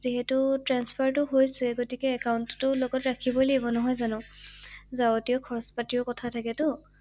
যিহেতু ট্ৰান্সফাৰটো হৈছে গতিকে একাউন্টটো লগত ৰাখিবঅই লাগিব নহয় জানো ৷যাওঁতে খৰচ পাতিৰ কথা থাকে টো ৷